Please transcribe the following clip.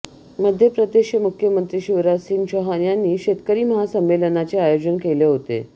मध्य प्रदेशचे मुख्यमंत्री शिवराजसिंह चौहान यांनी शेतकरी महासंमेलनाचे आयोजन केले होते